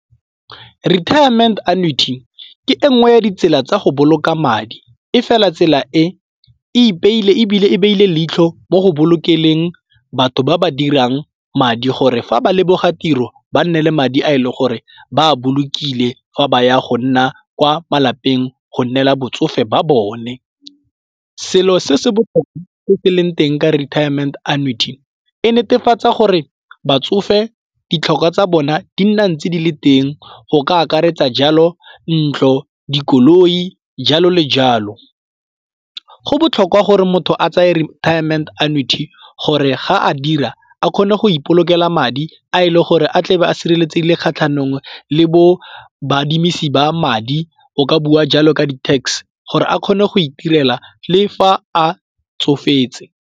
Retirement Annuity ke engwe ya ditsela tsa go boloka madi, e fela tsela e e pele ebile e beile leitlho mo go bolokeng batho ba ba dirang madi gore fa ba leboga tiro ba nne le madi a e leng gore ba a bolokile fa ba ya go nna kwa malapeng go nnela botsofe ba bone. Selo se se botlhokwa se se leng teng ka retirement annuity e netefatsa gore batsofe ditlhokwa tsa bona di nna ntse di le teng go ka akaretsa jalo ntlo, dikoloi, jalo le jalo. Go botlhokwa gore motho a tsaya retirement annuity gore ga a dira a kgone go ipolokela madi a e le gore a tlebe a sireletse kgatlhanong le baadimisani ba madi o ka bua jalo ka di tax gore a kgone go itirela le fa a tsofetse.